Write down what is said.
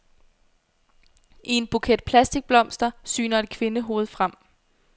I en buket plastikblomster syner et kvindehoved frem.